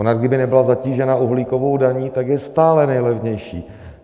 Ona, kdyby nebyla zatížena uhlíkovou daní, tak je stále nejlevnější.